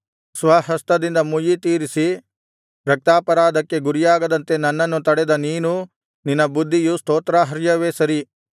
ಸ್ವಹಸ್ತದಿಂದ ಮುಯ್ಯಿ ತೀರಿಸಿ ರಕ್ತಾಪರಾಧಕ್ಕೆ ಗುರಿಯಾಗದಂತೆ ನನ್ನನ್ನು ತಡೆದ ನೀನೂ ನಿನ್ನ ಬುದ್ಧಿಯೂ ಸ್ತೋತ್ರಾರ್ಹವೆ ಸರಿ